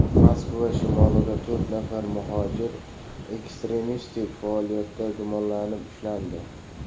Moskva shimolida to‘rt nafar muhojir ekstremistik faoliyatda gumonlanib ushlandi.